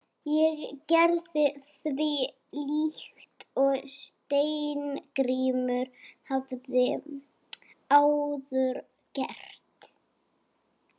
Ég gerði því líkt og Steingrímur hafði áður gert.